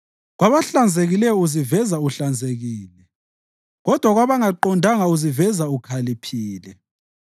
Kwabahlanzekileyo uziveza uhlanzekile kodwa kwabangaqondanga uziveza ukhaliphile.